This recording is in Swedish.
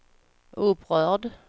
upprörd